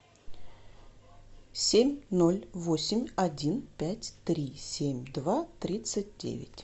семь ноль восемь один пять три семь два тридцать девять